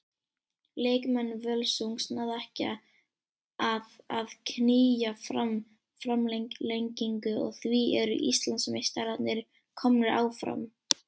Leikmenn Völsungs náðu ekki að að knýja fram framlengingu og því eru Íslandsmeistararnir komnir áfram.